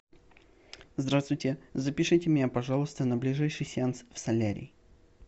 здравствуйте запишите меня пожалуйста на ближайший сеанс в солярий